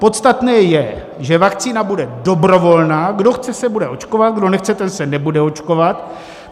Podstatné je, že vakcína bude dobrovolná, kdo chce, se bude očkovat, kdo nechce, ten se nebude očkovat.